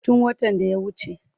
Tun watan da ya wace.